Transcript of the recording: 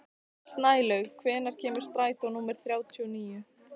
Snælaug, hvenær kemur strætó númer þrjátíu og níu?